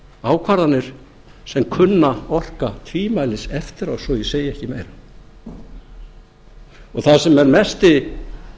ákvarðanir sem kunna orka tvímælis eftir á svo ég segi ekki meira það sem er mesti